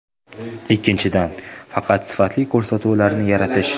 Ikkinchidan, faqat sifatli ko‘rsatuvlarni yaratish.